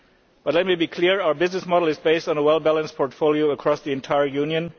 But let me be clear our business model is based on a well balanced portfolio across the entire Union.